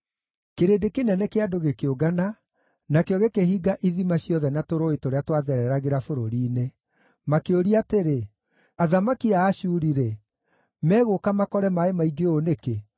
Kĩrĩndĩ kĩnene kĩa andũ gĩkĩũngana, nakĩo gĩkĩhinga ithima ciothe na tũrũũĩ tũrĩa twathereragĩra bũrũri-inĩ. Makĩũria atĩrĩ, “Athamaki a Ashuri-rĩ, megũka makore maaĩ maingĩ ũũ nĩkĩ?”